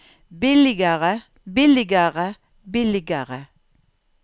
billigere billigere billigere